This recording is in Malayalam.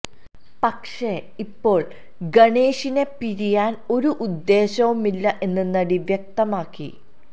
പക്ഷെ ഇപ്പോള് ഗണേഷിനെ പിരിയാന് ഒരു ഉദ്ദേശവുമില്ല എന്ന് നടി വ്യക്തമാക്കി